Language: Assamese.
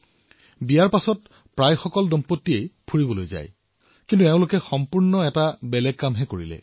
বিয়াৰ পিছত বহু লোক ফুৰিবলৈ যায় কিন্তু এওঁলোক দুয়োজনে অন্য কাম কৰিলে